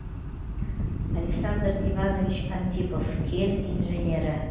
александр иванович антипов кен инженері